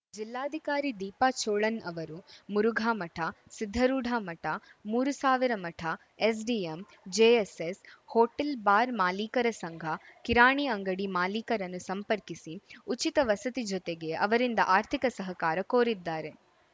ಜಿಲ್ಲಾಧಿಕಾರಿ ದೀಪಾ ಚೋಳನ್‌ ಅವರು ಮುರುಘಾಮಠ ಸಿದ್ಧಾರೂಢಮಠ ಮೂರು ಸಾವಿರ ಮಠ ಎಸ್‌ಡಿಎಂ ಜೆಎಸ್ಸೆಸ್‌ ಹೋಟೆಲ್‌ ಬಾರ್‌ ಮಾಲೀಕರ ಸಂಘ ಕಿರಾಣಿ ಅಂಗಡಿ ಮಾಲೀಕರನ್ನು ಸಂಪರ್ಕಿಸಿ ಉಚಿತ ವಸತಿ ಜೊತೆಗೆ ಅವರಿಂದ ಆರ್ಥಿಕ ಸಹಕಾರ ಕೋರಿದ್ದಾರೆ